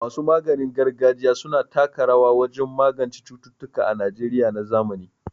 Masu maganin gargajiya su na taka rawa wajen magance cututtuka a Najeriya na zamani.